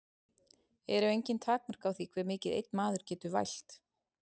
Eru engin takmörk á því hve mikið einn maður getur vælt?